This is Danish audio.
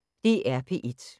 DR P1